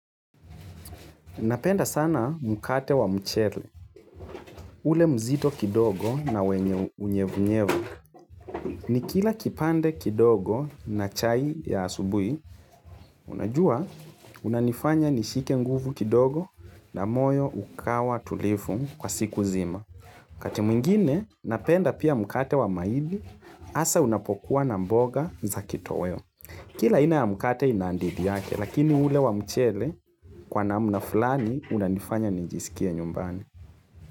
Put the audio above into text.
Napenda sana mukate wa mcheli. Ule mzito kidogo na wenye unyevunyevu. Ni kila kipande kidogo na chai ya asubui, unajua unanifanya nishike nguvu kidogo na moyo ukawa tulifu kwa siku zima. Wakati mwingine, napenda pia mukate wa maidi, asa unapokuwa na mboga za kitoweo. Kila aina ya mukate inandidi yake, lakini ule wa mcheli kwa na mnafulani unanifanya nijisikia nyumbani.